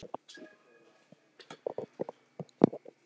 Marta ansar engu og fer aftur að smyrja.